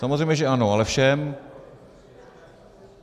Samozřejmě že ano, ale všem.